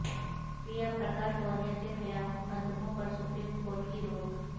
پریا پرکاش وارئیر کے خلاف مقدموں پر سپریم کورٹ کی روک